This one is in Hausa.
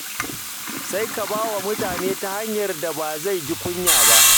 Sai ka ba wa mutum ta hanyar da ba zai ji kunya ba.